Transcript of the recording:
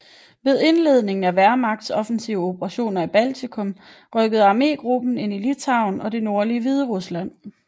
Ved indledningen af Wehrmachts offensive operationer i Baltikum rykkede armégruppen ind i Litauen og det nordlige Hviderusland